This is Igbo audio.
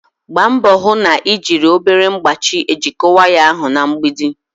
gbaa mbọ hụ na ị na-ejiri obere mkpachị ejikọta waya ahụ na mgbidi.